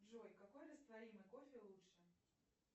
джой какой растворимый кофе лучше